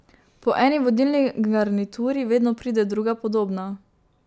Po eni vodilni garnituri vedno pride druga, podobna.